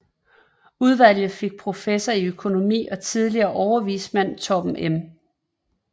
Udvalget fik professor i økonomi og tidligere overvismand Torben M